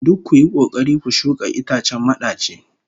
Duk kuyi kokari ku shuka itacen madaci